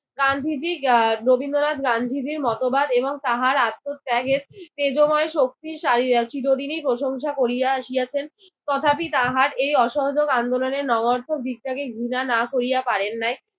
গান্ধীজি আহ রবীন্দ্রনাথ গান্ধীজির মতবাদ এবং তাহার আত্মত্যাগের তেজোময় শক্তির সাই আহ চিরদিনই প্রশংসা করিয়া আসিয়াছেন। তথাপি তাহার এই অসহযোগ আন্দোলনের নবায়াত্ত দিকটাকে ঘৃণা না করিয়া পারেন নাই।